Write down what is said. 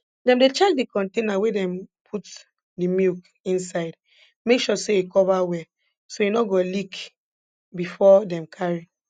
dem dey check d container wey dem put de milk inside make sure say e cover well so e nor go leak before dem carry